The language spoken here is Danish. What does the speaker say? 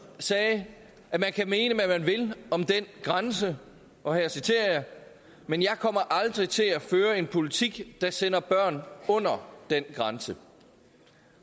sagde at man kan mene hvad man vil om den grænse men jeg kommer aldrig til at føre en politik der sender børn under den grænse